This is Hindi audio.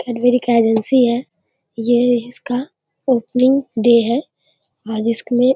केडबरी का एजेंसी है । ये इसका ओपनिंग डे है। आ जिसक में --